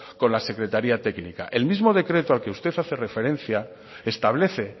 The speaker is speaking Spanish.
con la secretaria técnica el mismo decreto al que usted hace referencia establece